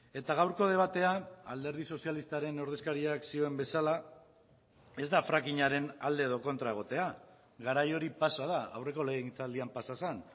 eta gaurko debatean alderdi sozialistaren ordezkariak zioen bezala ez da frackingaren alde edo kontra egotea garai hori pasa da aurreko legegintzaldian pasa zen